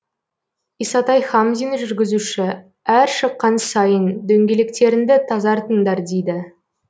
исатай хамзин жүргізуші әр шыққан сайын дөңгелектеріңді тазартыңдар дейді